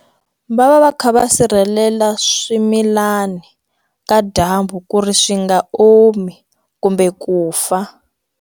Va va va kha va sirhelela swimilani ka dyambu ku ri swi nga omi kumbe ku fa.